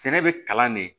Sɛnɛ bɛ kalan de